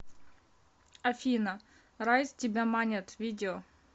афина райз тебя манят видео